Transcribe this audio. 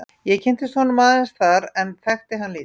Ég kynntist honum aðeins þar en þekkti hann lítið.